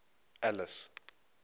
alice